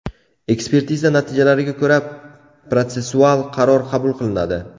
Ekspertiza natijalariga ko‘ra protsessual qaror qabul qilinadi.